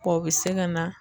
Bɔn o bi se ka na